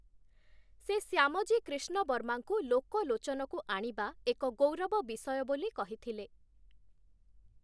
ସେ ଶ୍ୟାମଜୀ କ୍ରିଷ୍ଣବର୍ମାଙ୍କୁ ଲୋକଲୋଚନକୁ ଆଣିବା ଏକ ଗୌରବ ବିଷୟ ବୋଲି କହିଥିଲେ ।